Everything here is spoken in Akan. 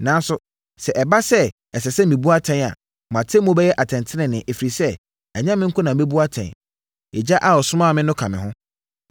Nanso, sɛ ɛba sɛ ɛsɛ sɛ mebu atɛn a, mʼatemmuo bɛyɛ atɛntenenee, ɛfiri sɛ, ɛnyɛ me nko na mɛbu atɛn; Agya a ɔsomaa me no ka me ho.